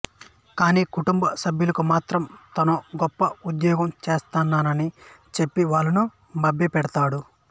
కాని కుటుంబ సభ్యులకు మాత్రం తానో గొప్ప ఉద్యోగం చెస్తున్నానని చెప్పి వాళ్ళను మభ్యపెడతాడు